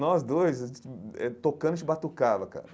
Nós dois, a gente eh tocando, a gente batucava, cara.